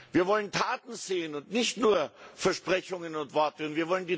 Wir wollen Taten sehen und nicht nur Versprechungen und Worte hören.